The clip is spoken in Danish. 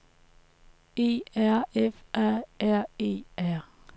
E R F A R E R